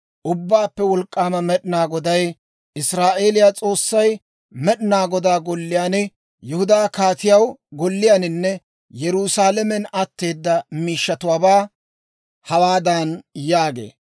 «Ubbaappe Wolk'k'aama Med'inaa Goday, Israa'eeliyaa S'oossay Med'inaa Godaa Golliyaan, Yihudaa kaatiyaa golliyaaninne Yerusaalamen atteeda miishshatuwaabaa hawaadan yaagee;